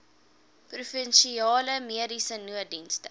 provinsiale mediese nooddienste